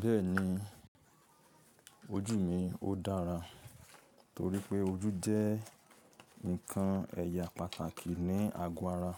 Bẹ́ẹ̀ni, ojú mi ó dára. Torí pé ojú jẹ́ nǹkan ẹ̀ya pàtàkì ní àgọ́ ara.